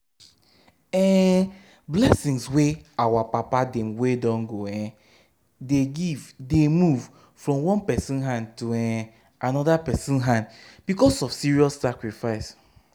um blessing wey our papa dem wey don go um dey give dey move from one person hand to um another person hand because of serious sacrifice.